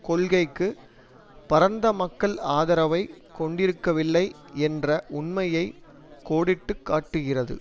கொள்கைக்கு பரந்த மக்கள் ஆதரவைக் கொண்டிருக்கவில்லை என்ற உண்மையை கோடிட்டு காட்டுகிறது